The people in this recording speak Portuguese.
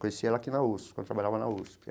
Conheci ela aqui na USP, quando trabalhava na USP.